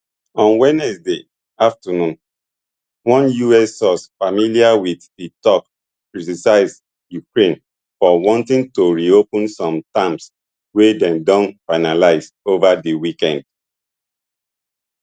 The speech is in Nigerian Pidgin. on wednesday afternoon one us source familiar with di talks criticise ukraine for wanting to reopen some terms wey dem don finalise over di weekend